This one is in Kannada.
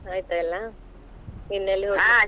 ಆಯ್ತಾ ಎಲ್ಲಾ ಇನ್ನು ಎಲ್ಲಿ ಹೋಗ್ಲಿಕ್ಕಿಲ್ವಾ?